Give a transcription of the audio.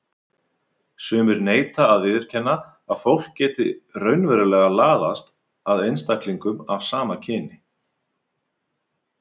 Sumir neita að viðurkenna að fólk geti raunverulega laðast að einstaklingum af sama kyni.